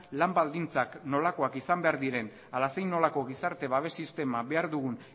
lan baldintzak nolakoak izan behar diren ala zein nolako gizarte babes sistema behar dugun